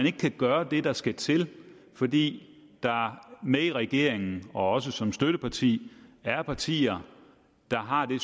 ikke kan gøre det der skal til fordi der i regeringen og også som støtteparti er partier der har det